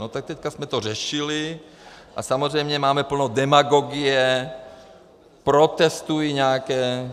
No tak teď jsme to řešili a samozřejmě máme plno demagogie, protestují nějaké...